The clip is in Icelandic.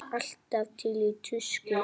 Alltaf til í tuskið.